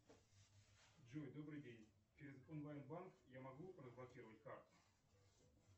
джой добрый день через онлайн банк я могу разблокировать карту